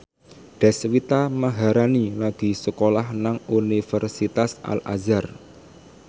Deswita Maharani lagi sekolah nang Universitas Al Azhar